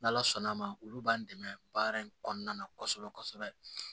N' ala sɔnna a ma olu b'an dɛmɛ baara in kɔnɔna na kɔsɛbɛ kɔsɛbɛ